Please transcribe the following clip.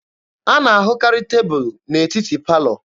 A na-ahụkarị tebụlụ n'etiti palọ